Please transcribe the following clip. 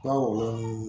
N ka